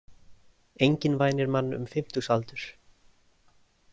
Enginn vænir mann um fimmtugsaldur.